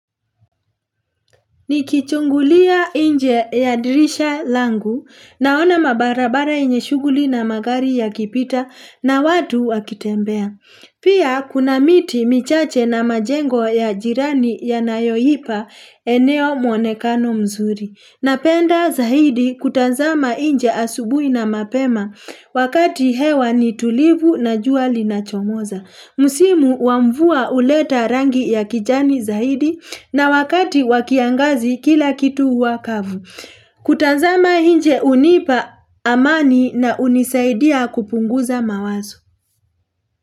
Nikichungulia nje ya dirisha langu naona mabarabara yenye shuguli na magari ya kipita na watu wakitembea. Pia kuna miti michache na majengo ya jirani ya nayohipa eneo mwonekano mzuri. Napenda zaidi kutanzama nje asubui na mapema wakati hewa ni tulivu na jua li na chomoza. Msimu wa mvua uleta rangi ya kijani zaidi na wakati wakiangazi kila kitu huwa kavu. Kutazama nje unipa amani na unisaidia kupunguza mawazo.